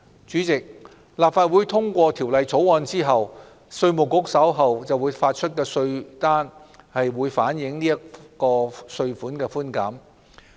主席，立法會通過《條例草案》後，稅務局發出的稅單將反映這項稅款寬減。